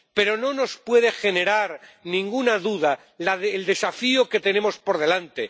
Pero no nos puede generar ninguna duda el desafío que tenemos por delante.